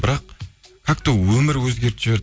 бірақ как то өмір өзгертіп жіберді